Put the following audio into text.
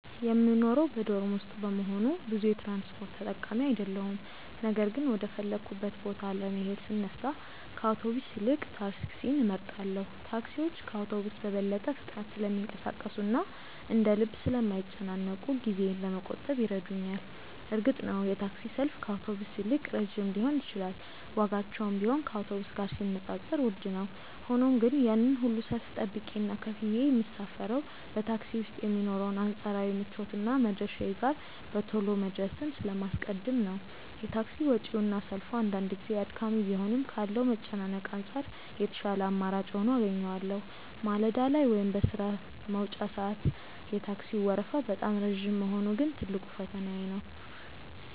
የምኖረው በዶርም ውስጥ በመሆኑ ብዙ የትራንስፖርት ተጠቃሚ አይደለሁም ነገር ግን ወደ ፈለግኩበት ቦታ ለመሄድ ስነሳ ከአውቶቡስ ይልቅ ታክሲን እመርጣለሁ። ታክሲዎች ከአውቶቡስ በበለጠ ፍጥነት ስለሚንቀሳቀሱና እንደ ልብ ስለማይጨናነቁ ጊዜዬን ለመቆጠብ ይረዱኛል። እርግጥ ነው የታክሲ ሰልፍ ከአውቶቡስ ይልቅ ረጅም ሊሆን ይችላል ዋጋቸውም ቢሆን ከአውቶቡስ ጋር ሲነጻጸር ውድ ነው። ሆኖም ግን ያንን ሁሉ ሰልፍ ጠብቄና ከፍዬ የምሳፈረው በታክሲ ውስጥ የሚኖረውን አንጻራዊ ምቾትና መድረሻዬ ጋር በቶሎ መድረስን ስለማስቀድም ነው። የታክሲ ወጪውና ሰልፉ አንዳንድ ጊዜ አድካሚ ቢሆንም ካለው መጨናነቅ አንጻር የተሻለ አማራጭ ሆኖ አገኘዋለሁ። ማለዳ ላይ ወይም በሥራ መውጫ ሰዓት የታክሲው ወረፋ በጣም ረጅም መሆኑ ግን ትልቁ ፈተናዬ ነው።